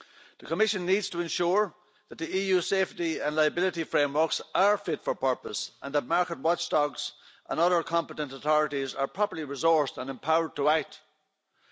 The Commission needs to ensure that the EU safety and liability frameworks are fit for purpose and that market watchdogs and other competent authorities are properly resourced and empowered to act.